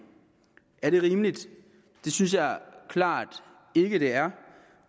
er det rimeligt det synes jeg klart ikke det er